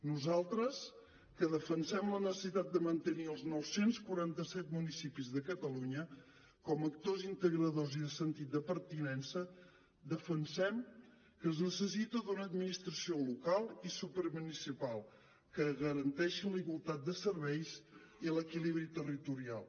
nosaltres que defensem la necessitat de mantenir els nou cents i quaranta set municipis de catalunya com a actors integradors i de sentit de pertinença defensem que es necessita una administració local i supramunicipal que garanteixi la igualtat de serveis i l’equilibri territorial